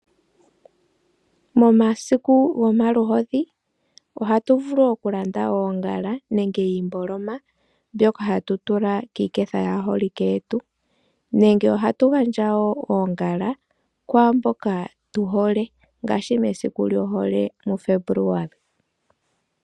Momasiku gomaluhodhi ohatu vulu okulanda oongala nenge iimboloma tatu tula kiiketha yaaholike yetu, nenge ohatu gandja kwaamboka tu hole ngaashi mesiku lyohole muFebuluali.